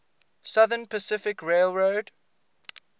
southern pacific railroad